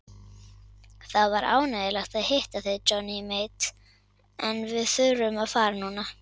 Það var ánægjulegt að hitta þig Johnny Mate en við þurfum að fara núna.